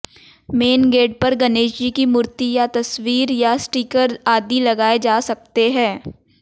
main gate पर गणेशजी की मूर्ति या तस्वीर या स्टीकर आदि लगाए जा सकते हैं